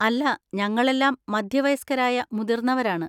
അല്ല, ഞങ്ങളെല്ലാം മധ്യവയസ്കരായ മുതിർന്നവരാണ്.